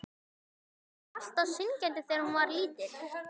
Guðný: Var hún alltaf syngjandi þegar hún var lítil?